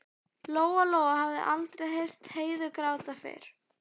Lóa Lóa hafði aldrei heyrt Heiðu gráta fyrr.